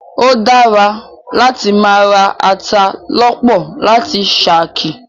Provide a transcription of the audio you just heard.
O dára láti máa ra ata lọ́pọ̀ láti ṣakí.